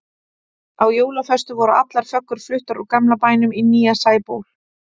Á jólaföstu voru allar föggur fluttar úr gamla bænum í nýja Sæból.